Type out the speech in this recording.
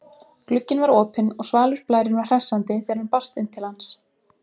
Glugginn var opinn og svalur blærinn var hressandi þegar hann barst inn til hans.